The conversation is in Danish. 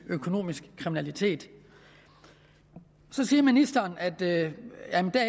økonomisk kriminalitet så siger ministeren at det